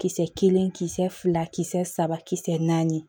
Kisɛ kelen kisɛ fila kisɛ saba kisɛ naani